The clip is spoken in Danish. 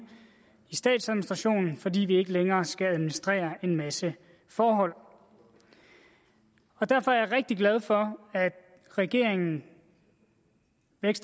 i statsadministrationen fordi vi ikke længere skal administrere en masse forhold derfor er jeg rigtig glad for at regeringen